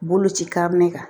Boloci ka ne kan